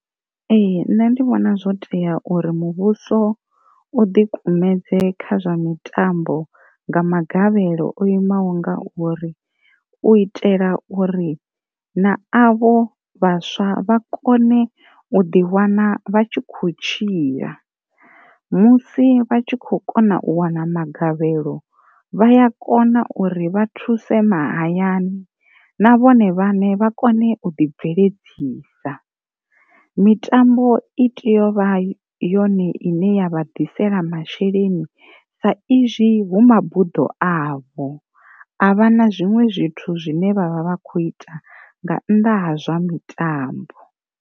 Ee nṋe ndi vhona zwo tea uri muvhuso u dikumedze kha zwa mitambo nga magavhelo o imaho nga uri, u itela uri na avho vhaswa vha kone u ḓiwana vha tshi kho tshila musi vha tshi kho kona u wana magavhelo vhaya kona uri vha thuse ma hayani na vhone vhaṋe vha kone u ḓi bveledzisa. Mitambo i tea u vha yone ine ya vha ḓisela masheleni sa izwi hu mabuḓo avho a vha na zwiṅwe zwithu zwine vhavha vha kho ita nga nnḓa ha zwa mitambo.